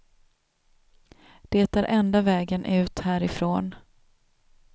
Det är enda vägen ut härifrån.